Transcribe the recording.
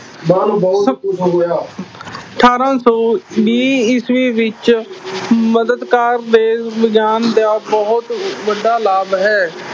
ਬਹੁਤ ਬਹੁਤ ਖ਼ੁਸ਼ ਹੋਇਆ ਅਠਾਰਾਂ ਸੌ ਵੀਹ ਈਸਵੀ ਵਿੱਚ ਦੇ ਵਿਗਿਆਨ ਦਾ ਬਹੁਤ ਵੱਡਾ ਲਾਭ ਹੈ।